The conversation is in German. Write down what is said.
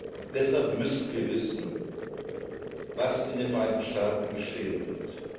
Und deshalb müssen wir wissen, was in den Vereinigten Staaten geschehen